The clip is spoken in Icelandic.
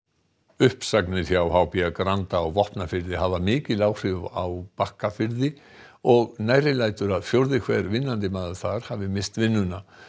uppsagnir hjá h b Granda á Vopnafirði hafa mikil áhrif á Bakkafirði og nærri lætur að fjórði hver vinnandi maður þar hafi misst vinnuna